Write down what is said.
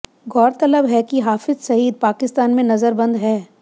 गौरतलब है कि हाफिज सईद पाकिस्तान में नजरबंद है